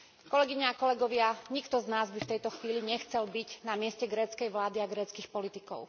Kolegyne a kolegovia, nikto z nás by v tejto chvíli nechcel byť na mieste gréckej vlády a gréckych politikov.